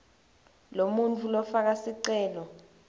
lomuntfu lofaka sicelo